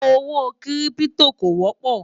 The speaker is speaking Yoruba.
owó kírìpitò kò wópò